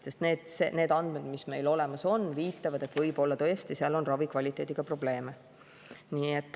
Sest need andmed, mis meil olemas on, viitavad, et võib-olla tõesti seal on ravikvaliteediga probleeme.